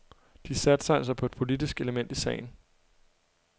De satser altså på et politisk element i sagen.